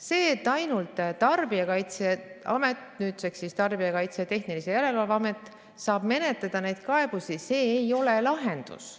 See, et ainult Tarbijakaitse ja Tehnilise Järelevalve Amet saab neid kaebusi menetleda, ei ole lahendus.